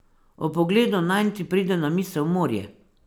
Ob pogledu nanj ti pride na misel morje.